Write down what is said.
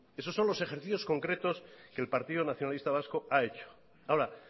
eso son los ejercicios concretos que el partido nacionalista vasco ha hecho ahora